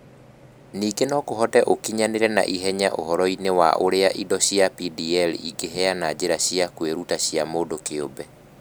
Ningĩ no kũhoteke ũkinyanĩre na ihenya ũhoro-inĩ wa ũrĩa indo cia DPL ingĩheana njĩra cia kwĩruta cia mũndũ kĩũmbe.